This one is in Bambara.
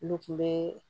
Ne kun be